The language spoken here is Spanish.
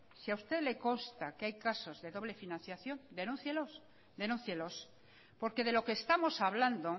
si a usted le consta que hay casos de doble financiación denúncielos porque de lo que estamos hablando